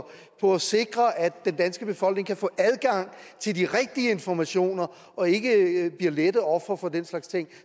på at sikre at den danske befolkning kan få adgang til de rigtige informationer og ikke bliver lette ofre for den slags ting